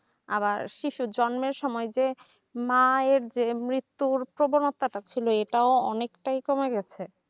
আবার শিশুর জন্মের সময় মায়ের যে মৃত্যুর প্রবণতা টা ছিল এটা অনেকটাই কমে গেছে